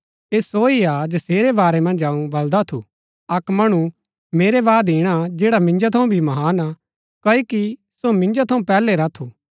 ऐह सो ही हा जसेरै बारै मन्ज अऊँ बलदा थू अक्क मणु मेरै बाद ईणा जैडा मिन्जो थऊँ भी महान हा क्ओकि सो मिन्जो थऊँ पैहलै रा थू